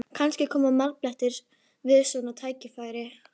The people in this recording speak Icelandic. Kannski koma marblettirnir við svona tækifæri?